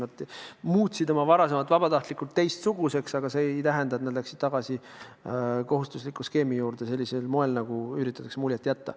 Nad muutsid oma varasema vabatahtlikkuse teistsuguseks, mitte ei läinud tagasi kohustusliku skeemi juurde, nagu üritatakse muljet jätta.